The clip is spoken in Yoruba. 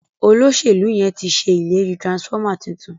Oloselu yén tí ṣe ìlérí transformer títún.